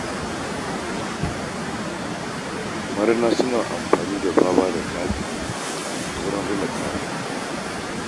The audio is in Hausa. Marina suna amfani da baba da katsi wajen rina kaya.